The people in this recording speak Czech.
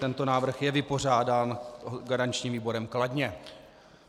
Tento návrh je vypořádán garančním výborem kladně.